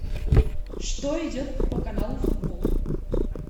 что идет по каналу футбол